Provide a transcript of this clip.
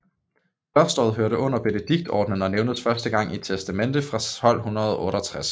Klosteret hørte under Benediktinerordenen og nævnes første gang i et testamente fra 1268